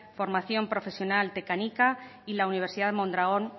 formación profesional y la universidad de mondragon